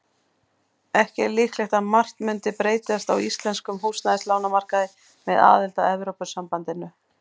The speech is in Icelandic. Ekki er líklegt að margt mundi breytast á íslenskum húsnæðislánamarkaði með aðild að Evrópusambandinu.